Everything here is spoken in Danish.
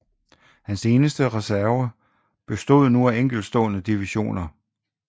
Hans eneste reserver bestod nu af enkeltstående divisioner